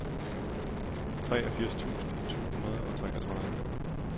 treogfirs tusind to hundrede og treogtredive